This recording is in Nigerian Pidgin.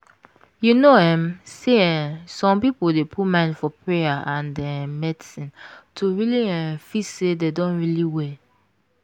you know um say eeh some people dey put mind for payer and um medicine to really um feel say dem don really well.